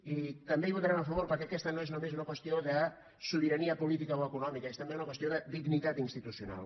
i també hi votarem a favor perquè aquesta no és només una qüestió de sobirania política o econòmica és també una qüestió de dignitat institucional